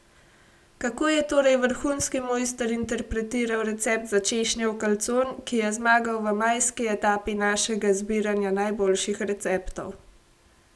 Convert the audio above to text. Kako je torej vrhunski mojster interpretiral recept za češnjev kalcon, ki je zmagal v majski etapi našega zbiranja najboljših receptov.